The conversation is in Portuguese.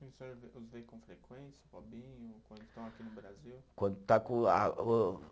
O senhor vê, os vê com frequência o Robinho quando estão aqui no Brasil? Quando está com a o